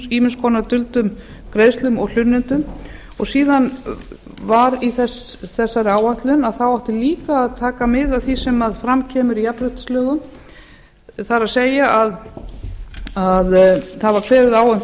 ýmiss konar duldum greiðslum og hlunnindum og síðan í þessari áætlun átti líka að taka mið af því sem fram kemur í jafnréttislögum það er að það var kveðið á